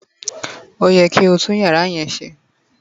oye ki oti tun iyara yen se!